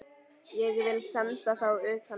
Ég vil senda þá utan!